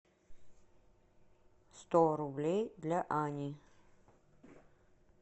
сто рублей для ани